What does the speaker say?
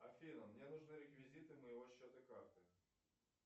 афина мне нужны реквизиты моего счета карты